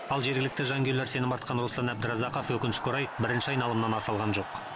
ал жергілікті жанкүйерлер сенім артқан руслан әбдіразақов өкінішке орай бірінші айналымнан аса алған жоқ